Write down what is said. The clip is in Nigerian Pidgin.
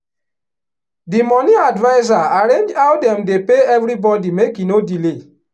the money adviser arrange how dem dey pay everybody make e no delay.